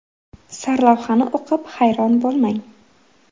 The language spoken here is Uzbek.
Sarlavhani o‘qib hayron bo‘lmang!